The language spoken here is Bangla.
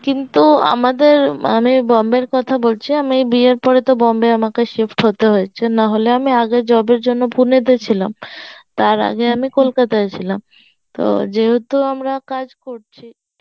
কিন্তু আমাদের মানে বম্বের কথা বলছি আমি বিয়ের পরে তো বম্বে আমাকে shift হতে হয়েছে নাহলে আমি আগের job এর জন্য Pune তে ছিলাম, তার আগে আমি Kolkata এ ছিলাম, তো যেহেতু আমরা কাজ করছি